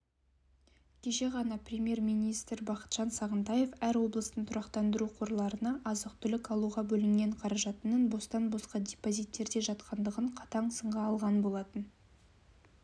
кеше ғана премьер-министр бақытжан сағынтаев әр облыстың тұрақтандыру қорларына азық-түлік алуға бөлінген қаржынының бостан-босқа депозиттерде жатқандығын қатаң сынға алған болатын